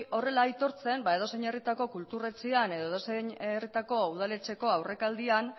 horrela aitortzen ba edozein herritako kultur etxean edo edozein herritako udaletxeko aurrealdean